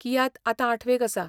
कियात आतां आठवेक आसा.